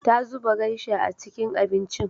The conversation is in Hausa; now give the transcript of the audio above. Ta zuba geisha a cikin abincin.